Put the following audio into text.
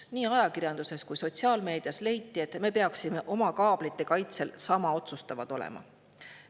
Nii ajakirjanduses kui sotsiaalmeedias leiti, et me peaksime oma kaablite kaitsel sama otsustavad olema.